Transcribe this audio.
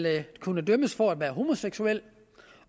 kunne dømmes for at være homoseksuel